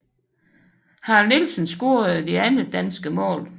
Harald Nielsen scorede det andet danske mål